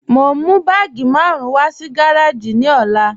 Mo n mú bàágí márùn wà sí gàràjì ní òlà.